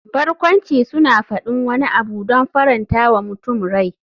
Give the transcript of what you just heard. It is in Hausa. Barkwanci suna faɗin wani abu don faranta wa mutum rai.